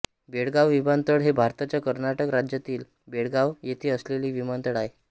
बेळगांव विमानतळ हे भारताच्या कर्नाटक राज्यातील बेळगांव येथे असलेले विमानतळ आहे